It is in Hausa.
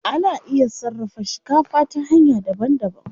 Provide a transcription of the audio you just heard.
Ana iya sarrafa shikafa ta hanya daban daban.